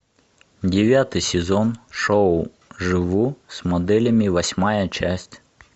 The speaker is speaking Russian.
девятый сезон шоу живу с моделями восьмая часть